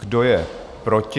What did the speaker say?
Kdo je proti?